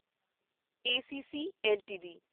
ACC LTD